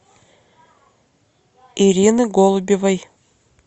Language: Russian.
ирины голубевой